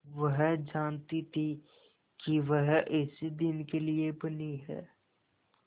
वह जानती थी कि वह इसी दिन के लिए बनी है